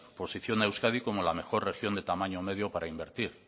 posiciona a euskadi como la mejor región de tamaño medio para invertir